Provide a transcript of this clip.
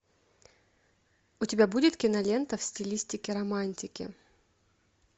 у тебя будет кинолента в стилистике романтики